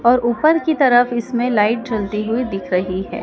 और ऊपर की तरफ इसमें लाइट जलती हुई दिख रही है।